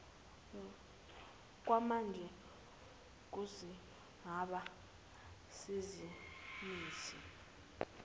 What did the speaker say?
kwamanje kuzigaba zezemithi